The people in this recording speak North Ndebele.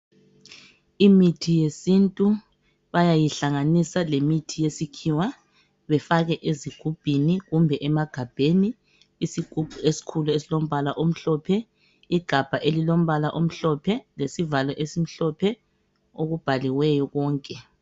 Imithi yesintu bayayihlanganisa lemithi yesikhiwa, bayifake ezigubhini kumbe emagabheni. Isigubhu esikhulu esilombala omhlophe, lesivalo esimhlophe okubhaliweyo konke.